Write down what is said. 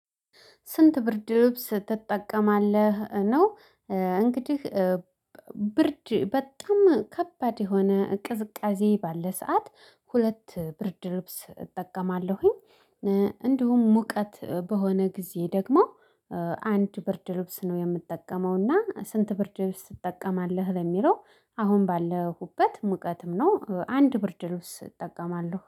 ስንት ብርድ ልብስ ትጠቀማለህ ነው? እንግዲህ ብርድ በጣም ከባድ የሆነ ቅዝቃዜ ባለ ሰዓት ሁለት ብርድ ልብስ እጠቀማለሁኝ። እንዲሁም ሙቀት በሆነ ጊዜ ደግሞ አንድ ብርድ ልብስ ነው የምጠቀመው። እና ስንት ብርድ ልብስ ትጠቀማለህ ለሚለው አሁን ባለሁበት ሙቀትም ነው አንድ ብርድ ልብስ እጠቀማለሁ